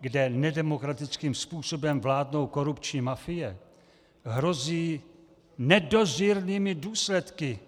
kde nedemokratickým způsobem vládnou korupční mafie, hrozí nedozírnými důsledky.